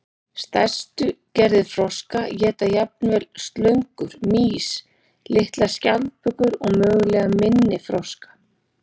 Stærstu gerðir froska éta jafnvel slöngur, mýs, litlar skjaldbökur og mögulega minni froska.